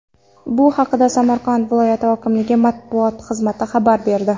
Bu haqda Samarqand viloyati hokimligi matbuot xizmati xabar berdi .